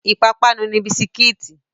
Ìpapánu ni bisikí.